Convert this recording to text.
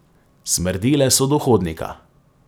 Smrdele so do hodnika.